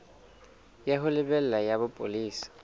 ya ho lebela ya bopolesa